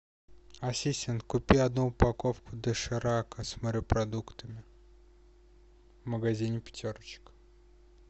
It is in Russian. ассистент купи одну упаковку доширака с морепродуктами в магазине пятерочка